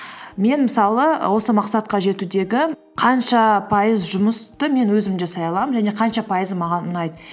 мен мысалы і осы мақсатқа жетудегі қанша пайыз жұмысты мен өзім жасай аламын және қанша пайызы маған ұнайды